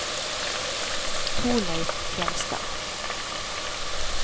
Thorleif Fjellstad